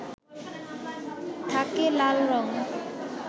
থাকে লাল রং